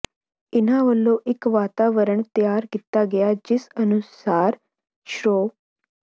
ਇਨ੍ਹਾਂ ਵਲੋਂ ਇੱਕ ਵਾਤਾਵਰਣ ਤਿਆਰ ਕੀਤਾ ਗਿਆ ਜਿਸ ਅਨੁਸਾਰ ਸ਼੍ਰੋ